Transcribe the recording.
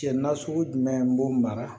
Cɛ nasugu jumɛn b'o mara